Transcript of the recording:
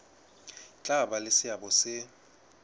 tla ba le seabo se